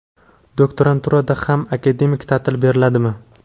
Doktoranturada ham akademik taʼtil beriladimi?.